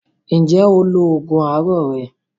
Ǹjẹ́ o lo oògùn àárọ̀ rẹ?